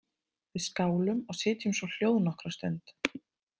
Við skálum og sitjum svo hljóð nokkra stund.